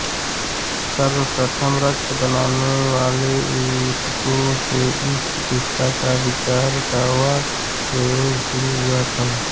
सर्वप्रथम रक्त बनाने वाले ऊतकों से इस चिकित्सा का विचार व प्रयोग शूरु हुआ था